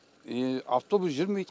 автобус жүрмейді